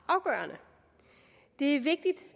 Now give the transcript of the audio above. afgørende det er vigtigt